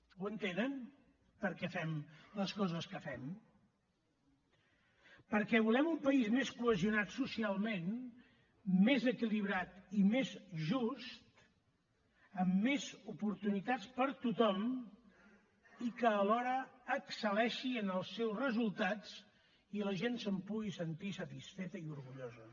ho entenen per què fem les coses que fem perquè volem un país més cohesionat socialment més equilibrat i més just amb més oportunitats per a tothom i que alhora excel·leixi en els seus resultats i la gent se’n pugui sentir satisfeta i orgullosa